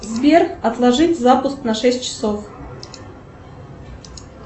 сбер отложить запуск на шесть часов